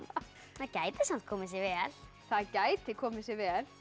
það gæti samt komið sér vel það gæti komið sér vel